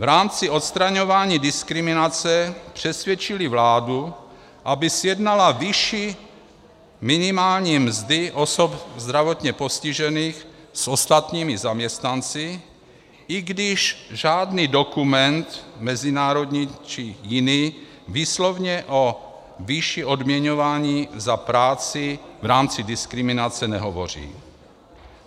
V rámci odstraňování diskriminace přesvědčily vládu, aby srovnala vyšší minimální mzdy osob zdravotně postižených s ostatními zaměstnanci, i když žádný dokument, mezinárodní či jiný, výslovně o výši odměňování za práci v rámci diskriminace nehovoří.